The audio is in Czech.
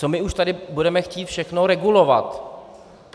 Co my už tady budeme chtít všechno regulovat?